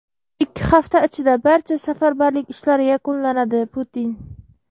ikki hafta ichida barcha safarbarlik ishlari yakunlanadi – Putin.